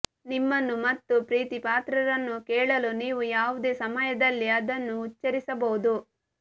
ನಿಮ್ಮನ್ನು ಮತ್ತು ಪ್ರೀತಿಪಾತ್ರರನ್ನು ಕೇಳಲು ನೀವು ಯಾವುದೇ ಸಮಯದಲ್ಲಿ ಅದನ್ನು ಉಚ್ಚರಿಸಬಹುದು